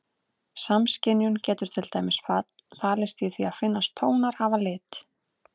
Samskynjun getur til dæmis falist í því að finnast tónar hafa lit.